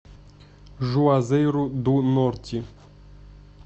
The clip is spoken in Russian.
жуазейру ду норти